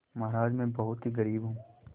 महाराज में बहुत ही गरीब हूँ